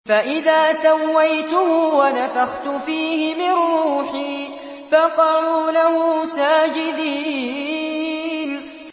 فَإِذَا سَوَّيْتُهُ وَنَفَخْتُ فِيهِ مِن رُّوحِي فَقَعُوا لَهُ سَاجِدِينَ